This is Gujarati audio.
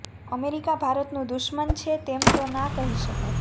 અમેરિકા ભારતનું દુશ્મન છે તેમ તો ના કહી શકાય